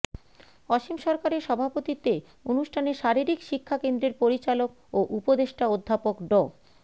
অসীম সরকারের সভাপতিত্বে অনুষ্ঠানে শারীরিক শিক্ষা কেন্দ্রের পরিচালক ও উপদেষ্টা অধ্যাপক ড